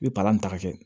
I bɛ palan taga kɛ